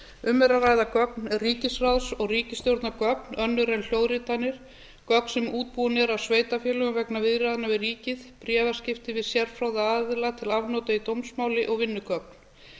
um er að ræða gögn ríkisráðs og ríkisstjórnargögn önnur en hljóðritanir gögn sem útbúin eru af sveitarfélögum vegna viðræðna við ríkið bréfaskipti við sérfróða aðila til afnota í dómsmáli og vinnugögn